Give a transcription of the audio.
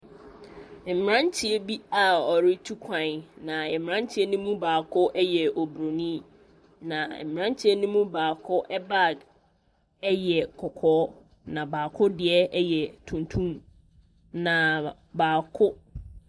Mmeranteɛ bi a ɔretu kwan na mmeranteɛ no mu baako ɛyɛ obronii na mmeranteɛ ne mu baako ɛbag ɛyɛ kɔkɔɔ na baako deɛ ɛyɛ tuntum n baako.